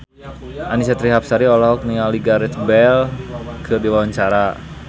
Annisa Trihapsari olohok ningali Gareth Bale keur diwawancara